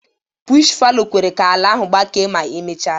Bush fallow kwere ka ala ahụ gbakee ma emechaa ya.